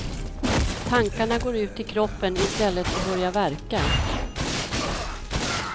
Tankarna går ut i kroppen i stället och börjar värka.